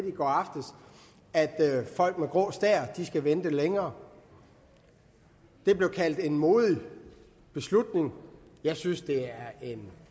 i går aftes at folk med grå stær skal vente længere det blev kaldt en modig beslutning jeg synes det er en